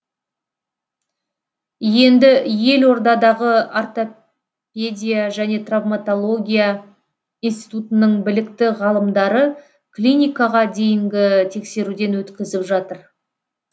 енді елордадағы ортопедия және травматология институтының білікті ғалымдары клиникаға дейінгі тексеруден өткізіп жатыр